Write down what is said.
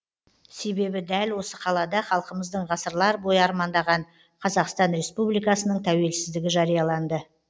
себебі дәл осы қалада халқымыздың ғасырлар бойы армандаған қазақстан республикасының тәуелсіздігі жарияланды